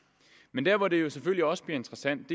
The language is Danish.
men der hvor det jo selvfølgelig også bliver interessant